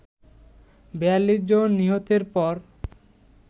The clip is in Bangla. ৪২ জন নিহতের পর